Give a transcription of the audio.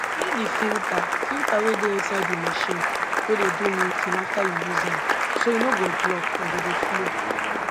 clean di filta filta wey dey inside di machine wey dey do milking afta yu use am so e nor go block and go dey flow